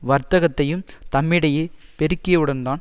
வர்த்தகத்தையும் தம்மிடையே பெருக்கியவுடன் தான்